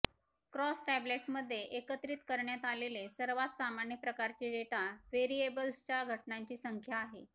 cross टॅब्लेटमध्ये एकत्रित करण्यात आलेले सर्वात सामान्य प्रकारचे डेटा व्हेरिएबल्सच्या घटनांची संख्या आहे